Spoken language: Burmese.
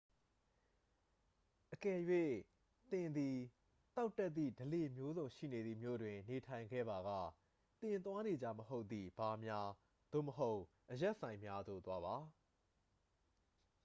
အကယ်၍ သင်သည့် သောက်တတ်သည့် ဓလေ့မျိုးစုံရှိနေသည့် မြို့တွင် နေထိုင်ခဲ့ပါက သင် သွားနေကျမဟုတ်သည့် ဘားများ သို့မဟုတ် အရက်ဆိုင်များသို့ သွားပါ